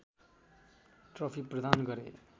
trophy प्रदान गरे